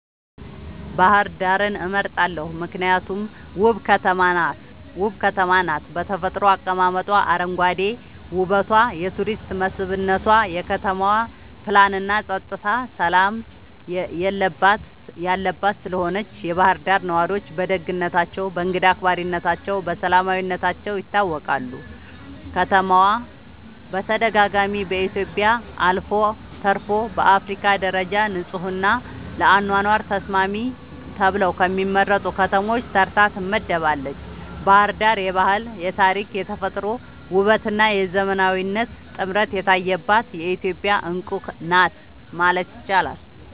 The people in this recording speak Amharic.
ባህር ዳርን እመርጣለሁ ምክንያቱም ውብ ከተማ ናት በተፈጥሮ አቀማመጧ, አረንጓዴ ዉበቷ የቱሪስት መስብነቷ, የከተማዋ ፕላንናፀጥታና ሠላም የለባት ስለሆነችም የባህር ዳር ነዋሪዎች በደግነታቸው፣ በእንግዳ አክባሪነታቸውና በሰላማዊነታቸው ይታወቃሉ። ከተማዋ በተደጋጋሚ በኢትዮጵያ አልፎ ተርፎም በአፍሪካ ደረጃ ንጹሕና ለአኗኗር ተስማሚ ተብለው ከሚመረጡ ከተሞች ተርታ ትመደባለች። ባሕር ዳር የባህል፣ የታሪክ፣ የተፈጥሮ ውበትና የዘመናዊነት ጥምረት የታየባት የኢትዮጵያ ዕንቁ ናት ማለት ይቻላል።